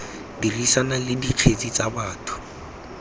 dirisana le dikgetse tsa batho